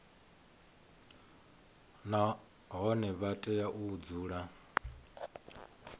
nahone vha tea u dzula